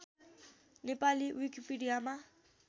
Nepali विकिपिडियामा